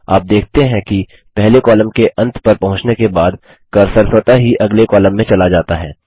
आप देखते हैं कि पहले कॉलम के अंत पर पहुँचने के बाद कर्सर स्वतः ही अगले कॉलम में चला जाता है